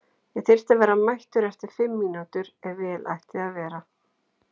Ég þyrfti að vera mættur eftir fimm mínútur ef vel ætti að vera.